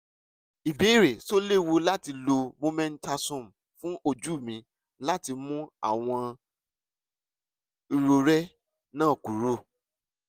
ìbéèrè: ṣé ó léwu láti lo mometasone fún ojú mi láti mú àwọn irorẹ́ náà kúrò?